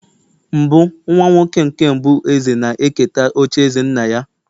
mbụ nwa-nwoke nke mbụ eze na-eketa ocha eze nna-ya